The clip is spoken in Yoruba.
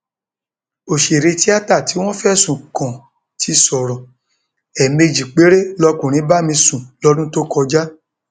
òṣèré tíátà tí wọn fẹsùn kàn ti sọrọ ẹẹmejì péré lọkùnrin bá mi sùn lọdún tó kọjá